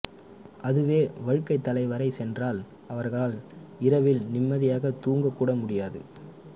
அதுவே வழுக்கை தலை வரை சென்றால் அவர்களால் இரவில் நிம்மதியாக தூங்க கூட முடியாது